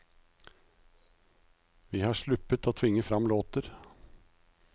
Vi har sluppet å tvinge fram låter.